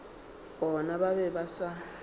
bona ba be ba sa